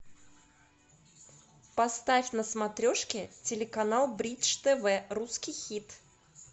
поставь на смотрешке телеканал бридж тв русский хит